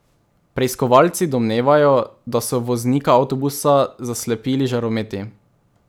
Preiskovalci domnevajo, da so voznika avtobusa zaslepili žarometi.